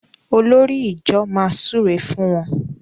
Olórí ìjọ má súré fún wón.